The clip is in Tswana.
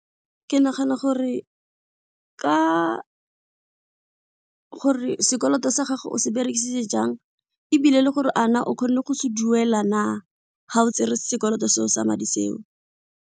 Ke nagana gore ka gore sekoloto sa gago o se berekisitse jang ebile le gore a na o kgonne go se duela na ga o tsere sekoloto seo sa madi seo.